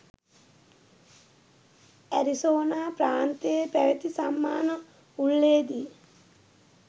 Arizona ප්‍රාන්තයේ පැවතී සම්මාන උළෙලේදී